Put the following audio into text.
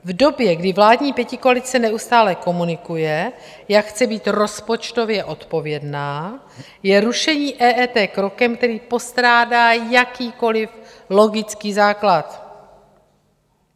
V době, kdy vládní pětikoalice neustále komunikuje, jak chce být rozpočtově odpovědná, je rušení EET krokem, který postrádá jakýkoliv logický základ.